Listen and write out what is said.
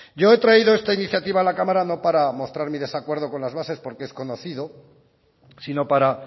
yo he traído esta iniciativa a la cámara no para mostrar mi desacuerdo con las bases porque es conocido sino para